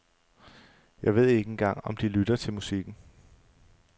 Jeg ved ikke engang om de lytter til musikken.